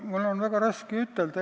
Mul on väga raske seda ütelda.